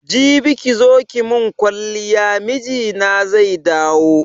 Jibi kizo ki mun kwaliya mijina zai dawo